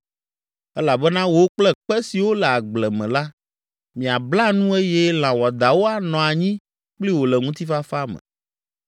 Elabena wò kple kpe siwo le agble me la miabla nu eye lã wɔadãwo anɔ anyi kpli wò le ŋutifafa me.